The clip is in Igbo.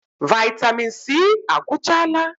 Vaịtamịn C agwụchaala?